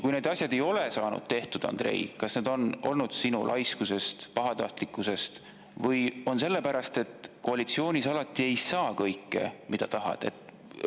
Kui need asjad ei ole saanud tehtud, Andrei, kas see on tulenenud sinu laiskusest, pahatahtlikkusest või sellest, et koalitsioonis ei saa alati kõike, mida tahad?